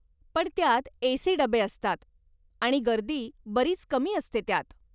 पण त्यात ए.सी. डबे असतात आणि गर्दी बरीच कमी असते त्यात.